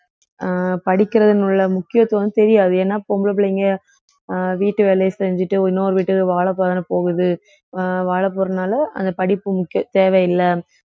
அஹ் படிக்கிறதினுள்ள முக்கியத்துவம் தெரியாது ஏன்னா பொம்பளை பிள்ளைங்க அஹ் வீட்டு வேலையை செஞ்சுட்டு இன்னொரு வீட்டுக்கு வாழப்போறேன்னு போகுது அஹ் வாழ போறதுனால அந்த படிப்பு முக்கியம் தேவையில்ல